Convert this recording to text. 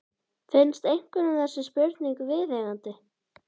Finnst einhverjum þessi spurning viðeigandi?